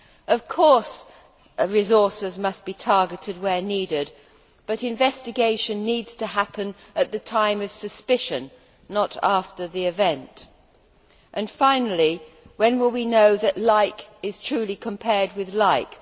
Of course, resources must be targeted where needed, but investigation needs to happen at the time of suspicion, not after the event. Finally, when will we know that like is truly compared with like?